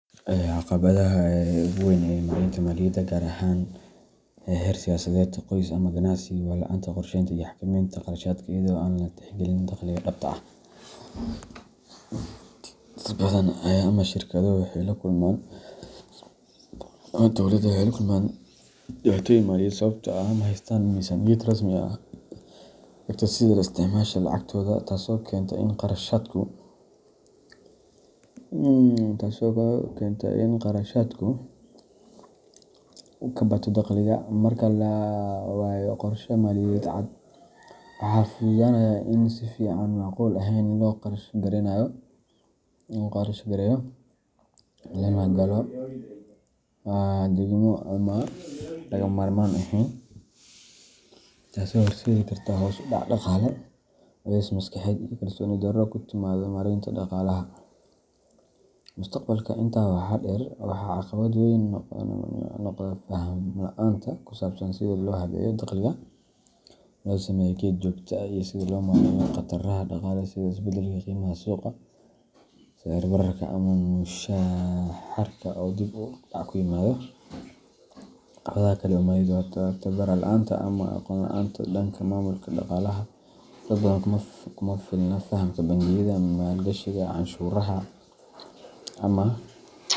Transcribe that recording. Caqabadda ugu weyn ee maareynta maaliyadda, gaar ahaan heer shaqsiyeed, qoys ama ganacsi, waa la’aanta qorsheynta iyo xakameynta kharashaadka iyadoo aan la tixgelin dakhliga dhabta ah. Dad badan ama shirkado waxay la kulmaan dhibaatooyin maaliyadeed sababtoo ah ma haystaan miisaaniyad rasmi ah oo hagta sida loo isticmaalo lacagtooda, taasoo keenta in kharashaadku ka bato dakhliga. Marka la waayo qorshe maaliyadeed cad, waxaa fududaanaya in si aan macquul ahayn loo kharash gareeyo, lana galo deymo aan lagama maarmaan ahayn, taasoo horseedi karta hoos u dhac dhaqaale, culays maskaxeed iyo kalsooni darro ku timaadda maareynta dhaqaalaha mustaqbalka. Intaa waxaa dheer, waxaa caqabad weyn noqda faham la’aanta ku saabsan sida loo habeeyo dakhliga, loo sameeyo kayd joogto ah, iyo sida loo maareeyo khataraha dhaqaale sida isbeddelka qiimaha suuqa, sicir bararka, ama mushaharka oo dib u dhac ku yimaado. Caqabadda kale ee maaliyadeed waa tababar la’aanta ama aqoon la’aanta dhanka maamulka dhaqaalaha dad badan kuma filna fahamka bangiyada, maalgashiga, canshuuraha, ama.